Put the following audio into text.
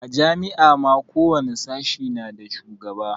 A jami'a ma ko wani sashe na da shugaba